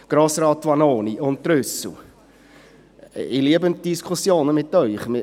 Grossräte Vanoni und Trüssel, ich liebe die Diskussionen mit Ihnen!